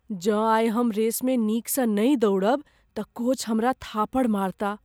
जँ आइ हम रेसमे नीकसँ नहि दौड़ब तऽ कोच हमरा थापड़ मारताह।